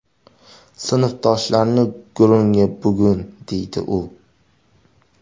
Sinfdoshlarning gurungi bugun, deydi u.